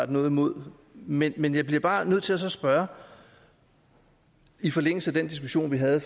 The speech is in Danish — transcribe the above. noget imod men men jeg bliver bare nødt til så at spørge i forlængelse af den diskussion vi havde